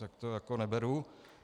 Tak to jako neberu.